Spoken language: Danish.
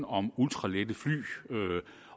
om ultralette fly